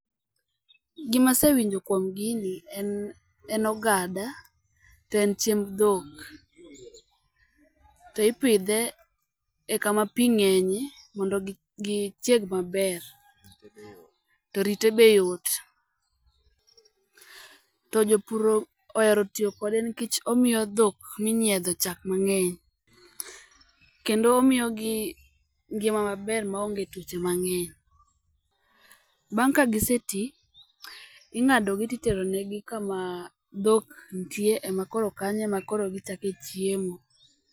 Gima asewinjo kuom gini en en Ogada to en chiemb dhok. To ipidhe e kama pii ng'enye mondo gi chieg maber to rite be yot. To jopur ohero tiyo kode nikech Omiyo dhok minyiedho chak mang'eny kendo omiyo gi ngima maber ma onge tuoche mang'eny. Bang' ka gi se tii, ing'adogi ti teronegi kamaaa dhok nitie ema koro kanyo ema koro gi chake chiemo.